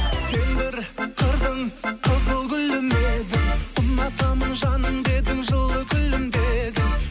сен бір қырдың қызыл гүлі ме едің ұнатамын жаным дедің жылы күлімдедің